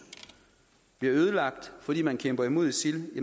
bliver ødelagt fordi man kæmper mod isil